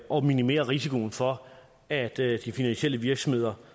og minimerer risikoen for at de finansielle virksomheder